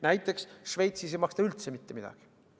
Näiteks Šveitsis ei maksta üldse mitte midagi.